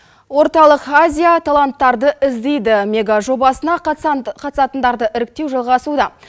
орталық азия таланттарды іздейді мегажобасына қатысатындарды іріктеу жалғасуда